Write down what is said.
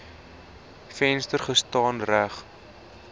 venster gestaan reg